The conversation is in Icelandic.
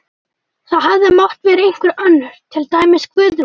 Það hefði mátt vera einhver önnur, til dæmis Guðrún.